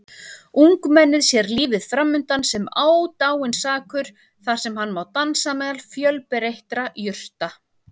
Ungmennið sér lífið framundan sem ódáinsakur þar sem hann má dansa meðal fjölbreyttra jurta.